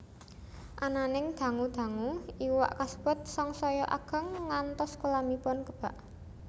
Ananing dangu dangu iwak kasebut sangsaya ageng ngantos kolamipun kebak